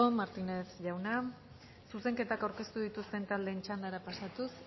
martínez jauna zuzenketak aurkeztu dituzten taldeen txandara pasatuz